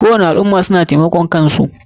Kowani al ummah suna taimakan kansu.